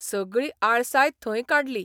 सगळी आळसाय थंय काडली.